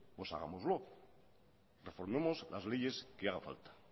pues hagámoslo reformemos las leyes que haga falta